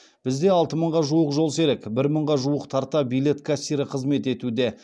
бізде алты мыңға жуық жолсерік бір мыңға тарта билет кассирі қызмет етуде